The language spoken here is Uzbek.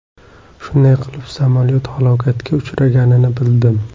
Shunday qilib, samolyot halokatga uchraganini bildim.